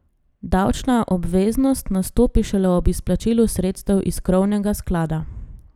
Davčna obveznost nastopi šele ob izplačilu sredstev iz krovnega sklada.